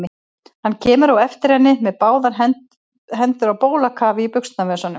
Hann kemur á eftir henni með báðar hendur á bólakafi í buxnavösunum.